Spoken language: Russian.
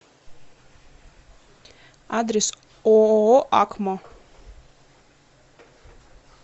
адрес ооо акмо